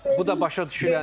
Bu da başa düşüləndir.